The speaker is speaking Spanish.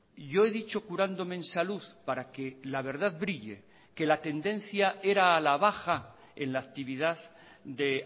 y yo he dicho curándome en salud para que la verdad brille que la tendencia era a la baja en la actividad de